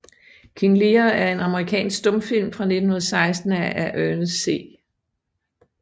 King Lear er en amerikansk stumfilm fra 1916 af Ernest C